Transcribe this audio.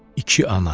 İki ana.